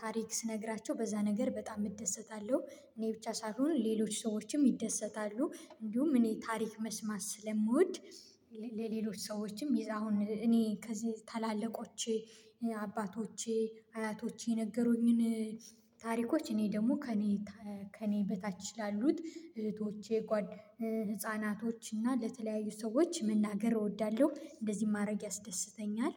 ታሪክ ስነግራቸው በዛ ነገር በጣም እደሰታለሁ። እኔ ብቻ ሳስሆን ሌሎች ሰዎችም ይደሰታሉ እንዲሁም እኔ ታሪክ መስማት ስለምወድ። ለሌሎች ሰዎችም ይ አሁን እኔ ከዚህ ታላላቆቼ አያቶቼ የነገሩኝን ታሪኮች እኔ ደግሞ ከእኔ ከእኔ በታች ላሉት እህቶቼ ህፃናቶች እና ለተለያዩ ሰዎች መናገር እወዳለሁ። እንደዚህ ማድረግ ያስደስተኛል።